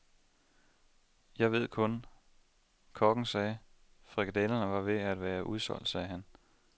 Jeg ved kun, kokken sagde, frikadellerne var ved at være udsolgt, sagde han.